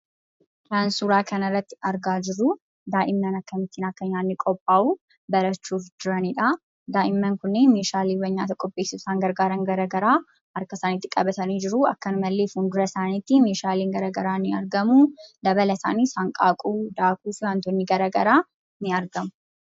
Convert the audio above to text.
Kan suuraa kanarratti argaa jirru daa'imman akkamittiin akka nyaanni qophaa'u barachuuf jiranidha. Daa'imman kunniin meeshaalee nyaata qopheessuuf isaan gargaaran garaagaraa harka isaaniitti qabatanii jiru. Akkasumallee, fuuldura isaaniitti meeshaaleen garaagaraa ni argamu. Dabalataanis, hanqaaquu, daakuu fi wantoonni garaagaraa ni argamu.